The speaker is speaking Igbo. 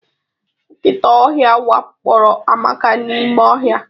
Nkịta ọhịa wakporo Amaka n'ime ọhịa.